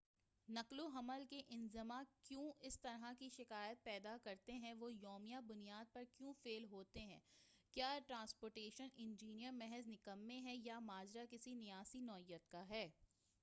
نقل و حمل کے انظمہ کیوں اس طرح کی شکایات پیدا کرتے ہیں وہ یومیہ بنیاد پر کیوں فیل ہوتے ہیں کیا ٹراسپورٹیشن انجینئر محض نکمے ہیں یا ماجرا کسی نیاسی نوعیت کا ہے